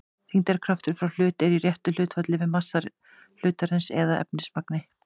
þyngdarkraftur frá hlut er í réttu hlutfalli við massa hlutarins eða efnismagn